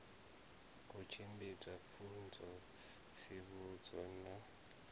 u tshimbidza pfunzo tsivhudzo na